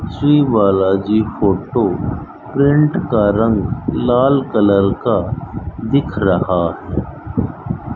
Shri Balaji photo print का रंग लाल कलर का दिख रहा --